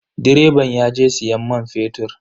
Direban yaje siyan man fetur.